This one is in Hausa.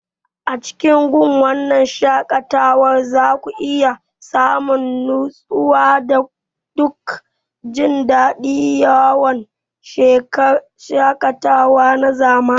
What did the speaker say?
A cikin wannan wurin shaƙatawa za ku iya samun nutsuwa da duk jin daɗin yawon shaƙatawa na zamani.